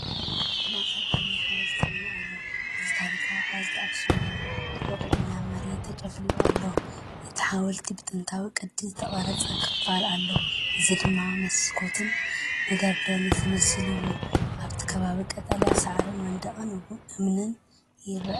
ኣብ ማእኸል ዓብዪ ሓወልቲ እምኒ ኣሎ፣ እዚ ታሪኻዊ ሓወልቲ ኣኽሱም እዩ። ተወቂዑ ናብ መሬት ተጨፍሊቑ ኣሎ። ኣብቲ ሓወልቲ ብጥንታዊ ቅዲ ዝተቐርጸ ክፋል ኣሎ፡ እዚ ድማ መስኮትን መደርደሪን ዝመስል እዩ። ኣብቲ ከባቢ ቀጠልያ ሳዕርን መንደቕ እምንን ይርአ።